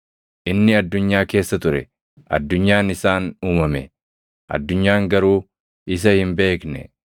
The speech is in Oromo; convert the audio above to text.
Inni addunyaa keessa ture; addunyaan isaan uumame; addunyaan garuu isa hin beekne.